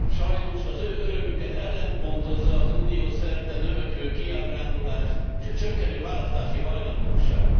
Sajnos az ő örömüket ellenpontozza az Unió szerte növekvő kiábrándulás, s a csökkenő választási hajlandóság.